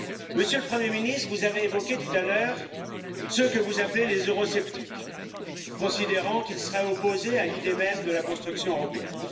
Monsieur le Premier ministre, vous avez évoqué tout à l'heure ceux que vous appelez les eurosceptiques, considérant qu'ils seraient opposés à l'idée même de la construction européenne.